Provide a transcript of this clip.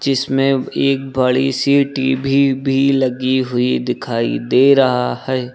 इसमें एक बड़ी सी टी_भी भी लगी हुई दिखाई दे रहा है।